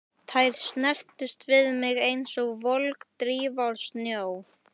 Þær snertust við mig einsog volg drífa úr snjó.